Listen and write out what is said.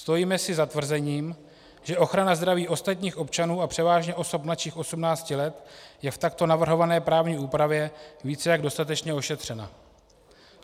Stojíme si za tvrzením, že ochrana zdraví ostatních občanů a převážně osob mladších 18 let je v takto navrhované právní úpravě více jak dostatečně ošetřena.